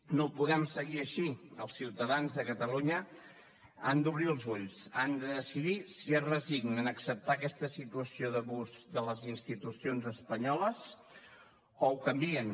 no podem seguir així els ciutadans de catalunya han d’obrir els ulls han de decidir si es resignen a acceptar aquesta situació d’abús de les institucions espanyoles o ho canvien